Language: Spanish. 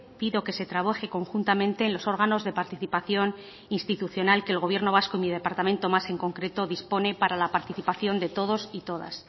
pido que se trabaje conjuntamente en los órganos de participación institucional que el gobierno vasco y mi departamento más en concreto dispone para la participación de todos y todas